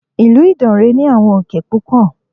Ìlú Ìdànrè ní àwọn òkè púpọ̀.